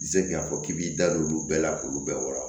I se k'a fɔ k'i b'i da don olu bɛɛ la k'olu bɛɛ wɔɔrɔ